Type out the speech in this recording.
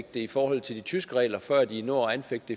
det i forhold til de tyske regler før de når at anfægte